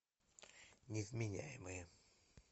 невменяемые